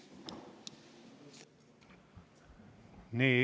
Nii.